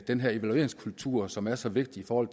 evalueringskulturen som er så vigtig for